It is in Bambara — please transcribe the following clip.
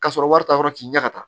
Ka sɔrɔ wari t'a yɔrɔ k'i ɲɛ ka taa